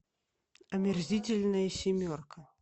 омерзительная семерка